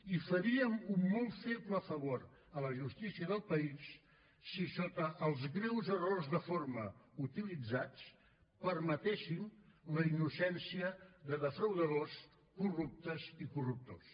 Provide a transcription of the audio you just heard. i faríem un molt feble favor a la justícia del país si sota els greus errors de forma utilitzats permetéssim la innocència de defraudadors corruptes i corruptors